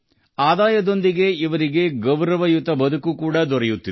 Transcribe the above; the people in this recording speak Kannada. ಆದಾಯದ ಜತೆಗೆ ಗೌರವದ ಬದುಕನ್ನೂ ಪಡೆಯುತ್ತಿದ್ದಾರೆ